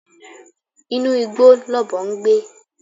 Inú igbó lọ̀bọ ń gbé